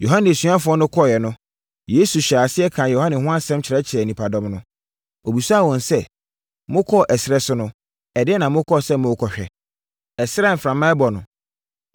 Yohane asuafoɔ no kɔeɛ no, Yesu hyɛɛ aseɛ kaa Yohane ho asɛm kyerɛɛ nnipadɔm no. Ɔbisaa wɔn sɛ, “Mokɔɔ ɛserɛ so no, ɛdeɛn na mokɔɔ sɛ morekɔhwɛ? Ɛserɛ a mframa rebɔ no?